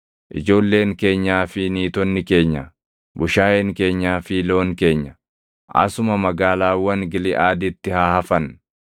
Ijoolleen keenyaa fi niitonni keenya, bushaayeen keenyaa fi loon keenya, asuma magaalaawwan Giliʼaaditti haa hafan.